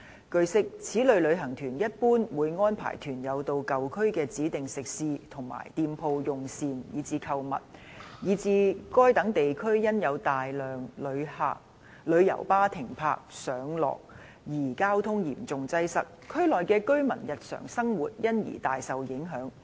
據悉，此類旅行團一般會安排團友到舊區的指定食肆和店鋪用膳及購物，以致該等地區因有大量旅遊巴停泊和上落客而交通嚴重擠塞，區內居民的日常生活因而大受影響。